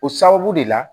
O sababu de la